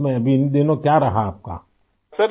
اس میں اب ان دنوں کیا رہا آپ کا؟